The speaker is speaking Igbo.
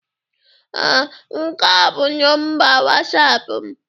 Ee, nke a bụ nọmba wasapụ m.